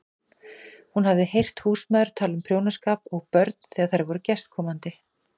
Hún hafði heyrt húsmæður tala um prjónaskap og börn þegar þær voru gestkomandi.